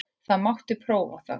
Það mátti prófa það.